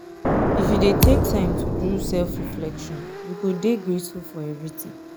if you dey take time do self-reflection you go dey grateful for everytin.